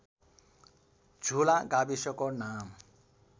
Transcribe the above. झुला गाविसको नाम